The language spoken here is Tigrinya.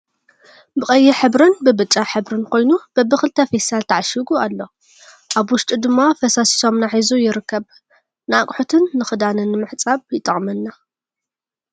ብቀይሕ ሕብርን ብብጫ ሕብር ኮይኑ በብክልተ ብፊስታል ተዓሽጉ ኣሎ። ኣብ ውሽጡ ድማ ፋሳሲ ሰሙና ሒዙ ይርከብ። ንኣቁሑትን ንክዳንን ንምሕፃብ ይጠቅመና።